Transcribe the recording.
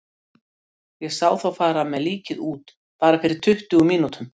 Ég sá þá fara með líkið út, bara fyrir tuttugu mínútum.